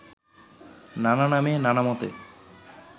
নানা নামে নানা মতে